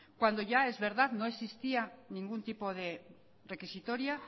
cuando ya es verdad no existía ningún tipo de requisitoria